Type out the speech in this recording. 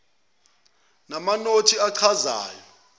namanothi achazayo etc